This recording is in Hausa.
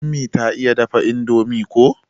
Ummi ta iya dafa indomie ko.